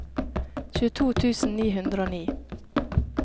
tjueto tusen ni hundre og ni